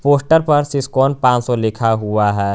Poster पर सिस्कोन पान सौ लिखा हुआ है।